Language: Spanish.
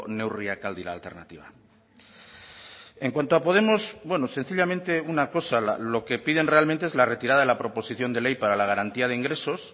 neurriak al dira alternatiba en cuanto a podemos sencillamente una cosa lo que piden realmente es la retirada de la proposición de ley para la garantía de ingresos